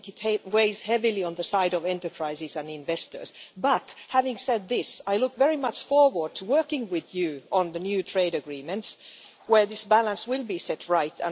I think it weighs heavily on the side of enterprises and investors but, having said this, I look very much forward to working with the Commissioner on the new trade agreements where this balance will be set right.